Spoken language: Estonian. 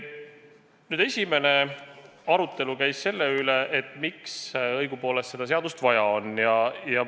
Algul käis arutelu selle üle, miks õigupoolest seda seadust vaja on.